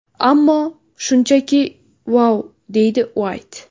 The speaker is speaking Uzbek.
Ammo... Shunchaki vau!”, deydi Uayt.